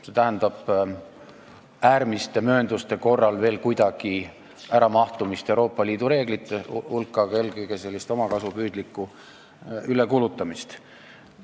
See tähendab äärmiste möönduste korral veel kuidagi mahtumist Euroopa Liidu reeglite raamistikku, aga eelkõige siiski omakasupüüdlikku ülekulutamist.